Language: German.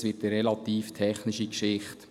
Dies ist eine relativ technische Geschichte.